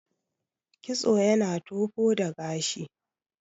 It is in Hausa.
kitso yana tofo da gashi